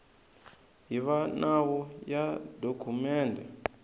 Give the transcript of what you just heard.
hi va nawu ya dokumende